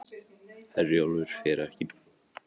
Herjólfur fer ekki